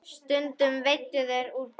Stundum veiddu þeir úr bátnum.